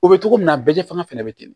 O bɛ cogo min na bɛɛ tɛ fanga fɛnɛ bɛ ten